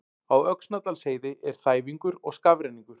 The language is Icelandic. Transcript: Á Öxnadalsheiði er þæfingur og skafrenningur